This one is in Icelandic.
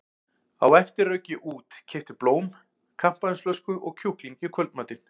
Á eftir rauk ég út, keypti blóm, kampavínsflösku og kjúkling í kvöldmatinn.